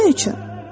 Onun üçün.